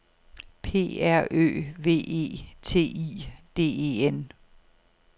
P R Ø V E T I D E N